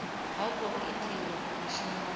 ha khou itiwa mushumo ho